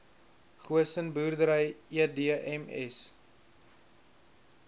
goosen boerdery edms